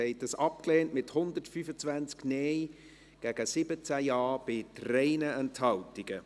Sie haben dies abgelehnt, mit 125 Nein- gegen 17 Ja-Stimmen bei 3 Enthaltungen.